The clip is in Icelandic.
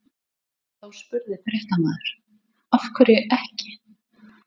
Þá spurði fréttamaður: Af hverju ekki?